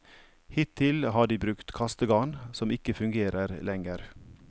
Hittil har de brukt kastegarn, som ikke fungerer lenger.